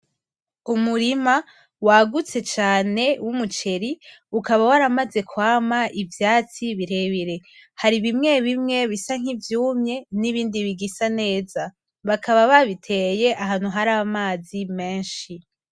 Umurima wagutse cane wumuceri ukaba waramaze kwama ivyatsi birebire, hari bimwe bimwe bisa nkivyumye nibindi bigisa neza, bakaba babiteye ahantu haramazi menshi.